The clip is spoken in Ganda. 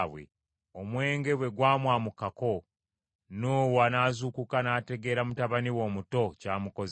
Omwenge bwe gwamwamukako, Nuuwa n’azuukuka n’ategeera mutabani we omuto ky’amukoze.